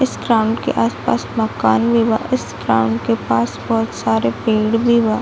इस ग्राउंड के आस-पास मकान भी बा इस ग्राउंड के पास बहुत सारे पेड़ भी बा ।